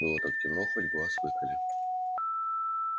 было так темно хоть глаз выколи